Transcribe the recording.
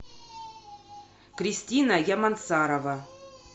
кристина ямансарова